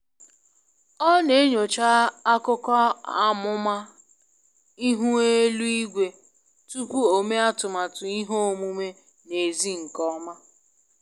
Ọ n'enyocha akụkọ amuma ihu elu igwe tupu o mee atụmatụ ihe omume n'ezi nke ọma.